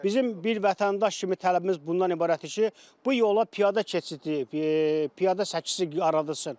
Bizim bir vətəndaş kimi tələbimiz bundan ibarətdir ki, bu yola piyada keçidi, piyada səkiləri yaradılsın.